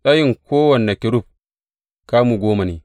Tsayin kowane kerub kamu goma ne.